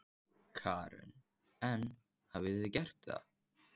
Karen: En hafið þið gert það?